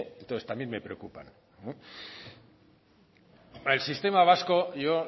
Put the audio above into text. entonces también me preocupan el sistema vasco yo